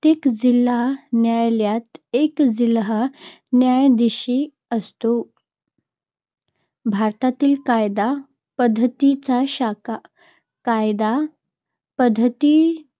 जिल्हा न्यायालयात एक जिल्हा न्यायाधीश असतो. भारतातील कायदा पद्धतीच्या शाखा - कायदा पद्धती